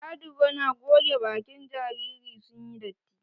Adigo na goge bakin jariri sun yi datti.